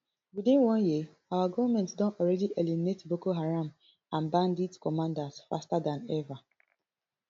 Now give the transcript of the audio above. within one year our goment don already eliminate boko haram and bandit commanders faster dan ever